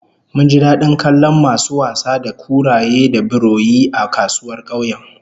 Mun ji dadin kallon masu wasa da kuraye da biroyi a kasuwar kauyen